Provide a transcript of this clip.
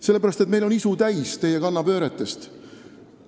Sellepärast, et meil on isu täis teie kannapööretest.